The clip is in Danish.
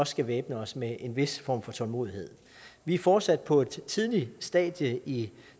skal væbne os med en vis tålmodighed vi er fortsat på et tidligt stadie i